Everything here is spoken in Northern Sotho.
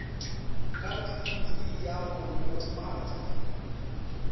ka thulusi ya go nolofatša